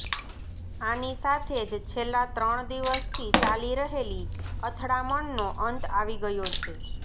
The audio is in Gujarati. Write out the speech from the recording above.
આની સાથે જ છેલ્લા ત્રણ દિવસથી ચાલી રહેલી અથડામણનો અંત આવી ગયો છે